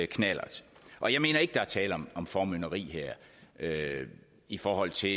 knallert og jeg mener ikke der her er tale om formynderi i forhold til